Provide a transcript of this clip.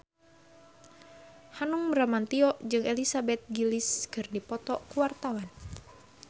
Hanung Bramantyo jeung Elizabeth Gillies keur dipoto ku wartawan